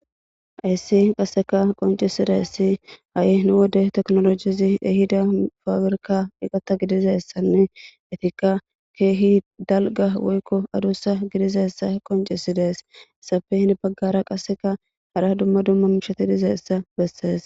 Hays qaseka qoncisidays ha'i nu wode tekinolojez ehida pabirka eqata gidizaysanne etika keeh dalga woyko adusa gididaysa qoncides, izappe qase hen bagara qaseka hara dumma dumma mishat dizaysa beses.